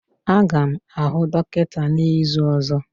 Aga m ahụ dọkịta n'izu ọzọ.